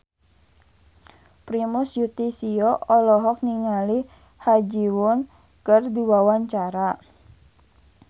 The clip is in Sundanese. Primus Yustisio olohok ningali Ha Ji Won keur diwawancara